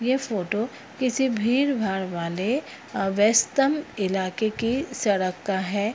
ये फोटो किसी भीड़-भाड़ वाले अ व्यस्तम ईलाके की सड़क का है।